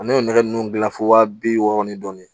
An m'o nɛgɛ nunnu gilan fo waa bi wɔɔrɔ ni dɔɔnin